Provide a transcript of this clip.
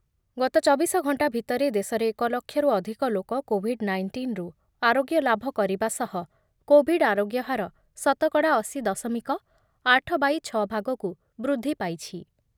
ଗତ ଚବିଶ ଘଣ୍ଟା ଭିତରେ ଦେଶରେ ଏକ ଲକ୍ଷରୁ ଅଧିକ ଲୋକ କୋବିଡ୍ ନାଇଣ୍ଟିନ୍‌ରୁ ଆରୋଗ୍ୟ ଲାଭ କରିବା ସହ କୋବିଡ୍ ଆରୋଗ୍ୟ ହାର ଶତକଡ଼ା ଅଶି ଦଶମିକ ଆଠ ବାଇ ଛ ଭାଗକୁ ବୃଦ୍ଧି ପାଇଛି